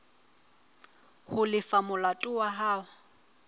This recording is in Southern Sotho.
ho lefa molato wa hao